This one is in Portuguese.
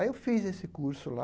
Aí eu fiz esse curso lá,